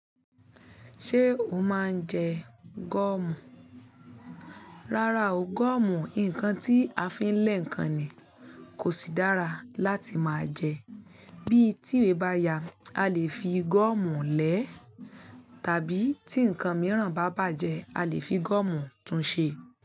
Ṣé o máa ń jẹ gọ́ọ̀mù? Rárá o, gọ́ọ̀mù, nǹkan tí a fi ń lẹ́ ǹkan ni, kò sì dára láti máa jẹ. Bí tìwé bá ya, a lè fi gọ́ọ̀mù lẹ́, tàbí tí ǹkan mìíràn bá bàjẹ́, a lè fi gọ́ọ̀mù tún ṣe.